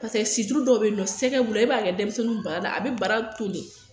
Paseke situlu dɔw be yen sɛgɛ b'ula e b'a kɛ denmisɛnnin baara la a be bara toli